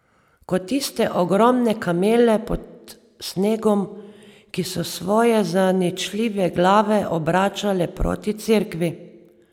Kot tiste ogromne kamele pod snegom, ki so svoje zaničljive glave obračale proti cerkvi.